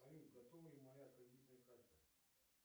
салют готова ли моя кредитная карта